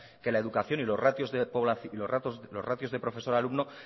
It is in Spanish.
que la educación y los ratios de profesor alumno